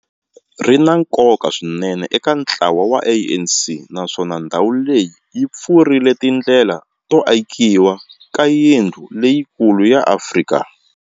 Ri na nkoka swinene eka ntlawa wa ANC, naswona ndhawu leyi yi pfurile tindlela to akiwa ka yindlu leyikulu ya Afrika.